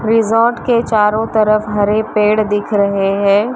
Resort के चारों तरफ हरे पेड़ दिख रहे है।